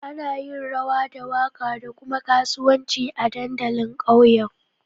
Ana yin rawa da waka da kuma kasuwanci a dandalin ƙauyen